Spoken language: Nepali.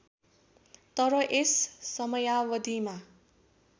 तर यस समयावधिमा